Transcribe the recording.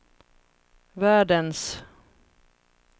världens